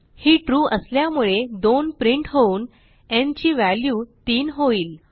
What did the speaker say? ही true असल्यामुळे 2 print होऊन न् ची व्हॅल्यू 3 होईल